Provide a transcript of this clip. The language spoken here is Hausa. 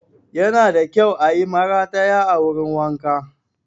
Yana da kyau ayi marataya a wurin wanka